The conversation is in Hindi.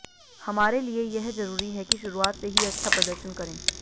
हमारे लिए यह जरूरी है कि शुरुआत से ही अच्छा प्रदर्शन करें